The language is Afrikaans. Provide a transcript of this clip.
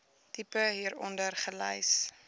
tipe hieronder gelys